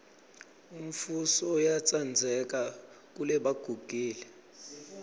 umfuso uyatsandzeka kelebagugile